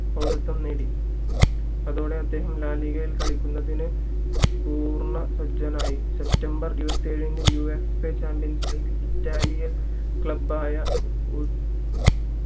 പൗരുത്വം നേടി അതോടെ അദ്ദേഹം ലാലിഗയിൽ കളിക്കുന്നതിന് പൂർണ്ണ സജ്ജനായി september ഇരുവതി ഏഴിന് യുവേഫ ചാമ്പിയൻസ് ലീഗിൽ ഇറ്റാലിയൻ club ആയ